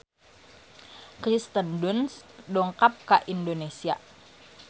Kirsten Dunst dongkap ka Indonesia